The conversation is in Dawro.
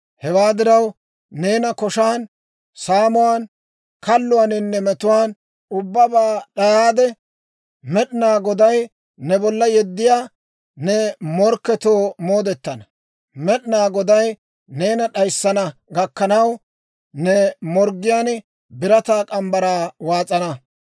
Hewaa diraw, neena koshan, saamuwaan, kalluwaaninne metuwaan ubbabaa d'ayaade, Med'inaa Goday ne bolla yeddiyaa ne morkketoo moodetana; Med'inaa Goday neena d'ayissana gakkanaw, ne morggiyaan birataa morgge mitsaa waas'ana.